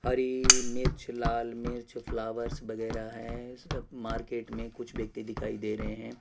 हरी मिर्च लाल मिर्च फ्लावर्स वगेरा हैं सब मार्केट में कुछ व्यक्ति दिखाई दे रहे है।